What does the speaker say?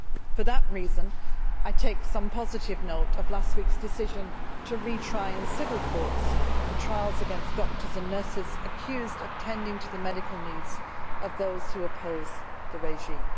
For that reason, I take some positive note of last week's decision to retry in civil courts the trials against doctors and nurses accused of tending to the medical needs of those who oppose the regime.